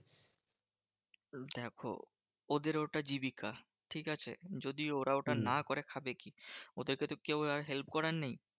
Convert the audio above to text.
দেখো ওদের ওটা জীবিকা, ঠিকাছে? যদি ওরা ওটা না করে খাবে কি? ওদেরকে তো কেউ আর help করার নেই?